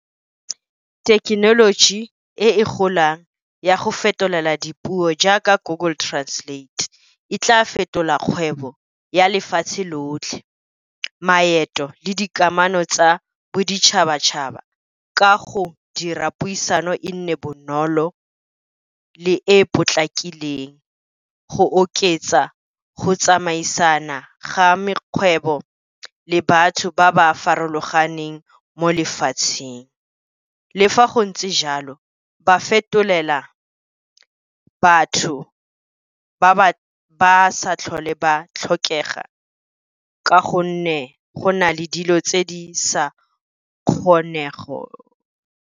Thekenoloji e golang ya go fetolela dipuo jaaka Google Translate, e tla fetola kgwebo ya lefatshe lotlhe. Maeto le dikamano tsa boditšhabatšhaba ka go dira puisano e nne bonolo le e potlakileng, go oketsa go tsamaisana ga mekgwebo le batho ba ba farologaneng mo lefatsheng. Le fa go ntse jalo ba fetolela batho ba sa tlhole ba tlhokega ka gonne go na le dilo tse di sa kgonego.